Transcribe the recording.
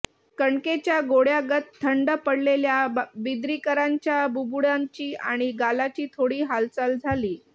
कणकेच्या गोळ्यागत थंड पडलेल्या बिद्रीकरांच्या बुबुळांची आणि गालाची थोडी हालचाल झाली